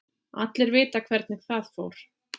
Allir vita hvernig það fór.